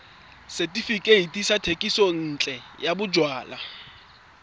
setefikeiti sa thekisontle ya bojalwa